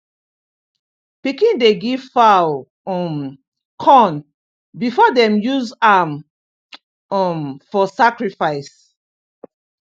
pikin dey give fowl um corn before dem use am um for sacrifice